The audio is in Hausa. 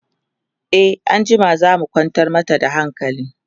e anjima zamuje mu kwantar mata da hankali